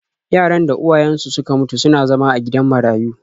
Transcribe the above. Yaran da uwayensu suka mutu suna zama a gidan marayu.